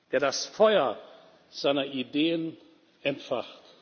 ist, der das Feuer seiner Ideen entfacht.